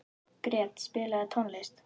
Gret, spilaðu tónlist.